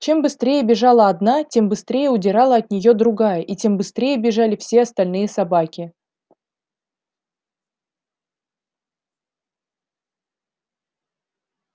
чем быстрее бежала одна тем быстрее удирала от неё другая и тем быстрее бежали все остальные собаки